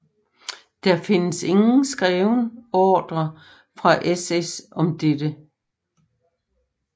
Der findes ingen skreven ordre fra SS om det